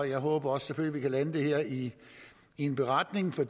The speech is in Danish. jeg håber selvfølgelig kan lande det her i en beretning for